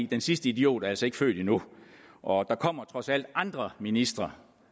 den sidste idiot er altså ikke født endnu og der kommer trods alt andre ministre